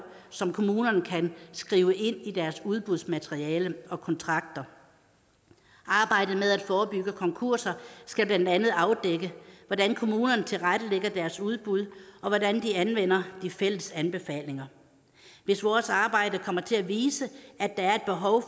som kommunerne kan skrive ind i deres udbudsmateriale og kontrakter arbejdet med at forebygge konkurser skal blandt andet afdække hvordan kommunerne tilrettelægger deres udbud og hvordan de anvender de fælles anbefalinger hvis vores arbejde kommer til at vise at der er et behov